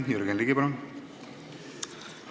Jürgen Ligi, palun!